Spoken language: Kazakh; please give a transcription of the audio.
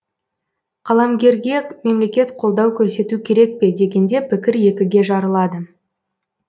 қаламгерге мемлекет қолдау көрсету керек пе дегенде пікір екіге жарылады